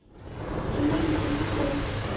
e neng e le go